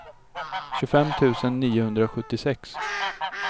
tjugofem tusen niohundrasjuttiosex